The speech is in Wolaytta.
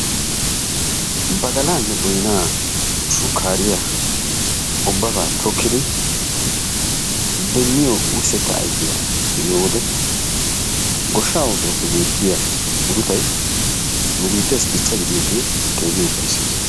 Badalaanne boynaa shukkaariya ubabaa tokkidi demmiyo wursetta ayfiya be'iyo wode goshshaa oosuwappe beetiya muruttay nu biitteessi dichchaa gidiyoogee keehi ufayssees.